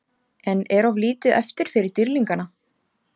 En er of lítið eftir fyrir Dýrlingana?